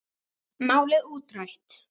Málið útrætt.